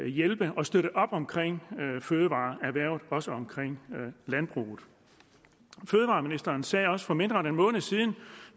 hjælpe og støtte op omkring fødevareerhvervet og også omkring landbruget fødevareministeren sagde også for mindre end en måned siden